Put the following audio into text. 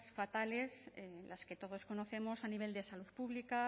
fatales las que todos conocemos a nivel de salud pública